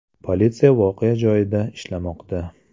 Politsiya voqea joyida ishlamoqda.